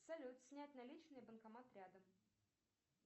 салют снять наличные банкомат рядом